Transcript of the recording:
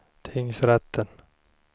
tingsrätten